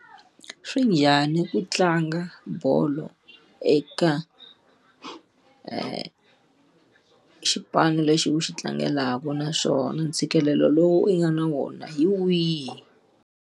Swi njhani ku tlanga bolo eka xipano lexi u xi tlangelaka naswona ntshikelelo lowu u nga na wona hi wihi?